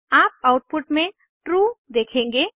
आप आउटपुट में ट्रू देखेंगे